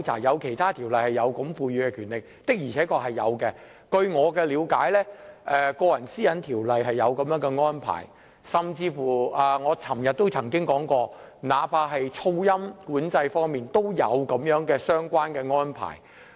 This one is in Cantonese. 有其他條例賦予這樣的權力，這確是事實，據我了解，《個人資料條例》有這安排，甚至我昨天也曾提及，那怕是噪音管制方面，也有相關的安排。